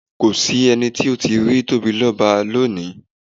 Kò s’ẹ́ni tó tíì rí Tóbilọ́ba lónìí.